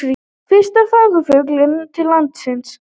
Fyrsti farfuglinn til landsins